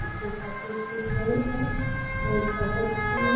इसके साथ कोई है और बहुत ही --